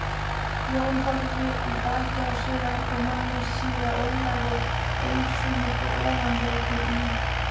Jón horfði í bakið á sér eldri manni, síra Ólafi Egilssyni frá Ofanleiti í